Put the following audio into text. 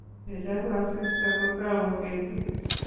Yechoru asista kutou betu.